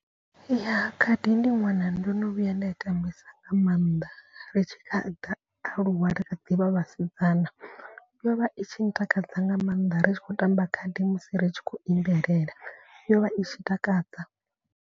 Ya khadi ndi ṅwana ndo no vhuya nda i tambisa nga maanḓa. Ri tshi kha ḓi aluwa ri kha ḓi vha vhasidzana yo vha i tshi ntakadza nga maanḓa. Ri tshi khou tamba khadi musi ri tshi khou imbelela yo vha itshi takadza.